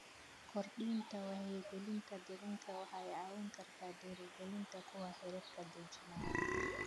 Kordhinta wacyigelinta deegaanka waxay caawin kartaa dhiirrigelinta kuwa xeerarka dejinaya.